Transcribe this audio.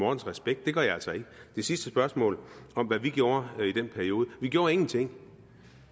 respekt det gør jeg altså ikke det sidste spørgsmål om hvad vi gjorde i den periode vi gjorde ingenting